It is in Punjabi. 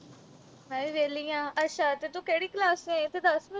ਮੈਂ ਵੀ ਵਿਹਲੀ ਆ ਅੱਛਾ ਤੂੰ ਤੇ ਕਿਹੜੀ class ਵਿਚ ਹੋਈ ਇਹ ਤਾਂ ਦਁਸ